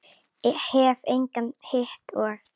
Hef engan hitt og.